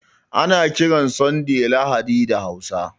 Ana kiran Sanday Lahadi da Hausa